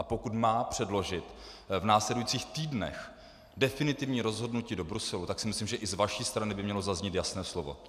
A pokud má předložit v následujících týdnech definitivní rozhodnutí do Bruselu, tak si myslím, že i z vaší strany by mělo zaznít jasné slovo.